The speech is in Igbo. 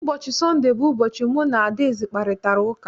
Ụbọchị Sọnde bụ ụbọchị mbụ mụ na Adaeze kparịtara ụka.